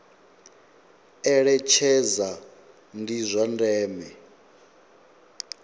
eletshedza ndi zwa ndeme kha